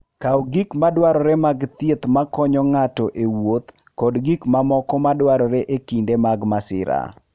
Kaw gik madwarore mag thieth makonyo ng'ato e wuoth kod gik mamoko madwarore e kinde mag masira.